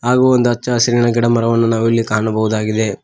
ಹಾಗು ಒಂದ್ ಹಚ್ಚ ಹಸಿರಿನ ಗಿಡ ಮರವನ್ನು ನಾವು ಇಲ್ಲಿ ಕಾಣಬಹುದಾಗಿದೆ.